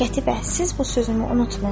Qətibə, siz bu sözümü unutmayın.